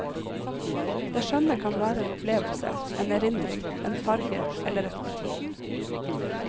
Det skjønne kan være en opplevelse, en erindring, en farge eller et motiv.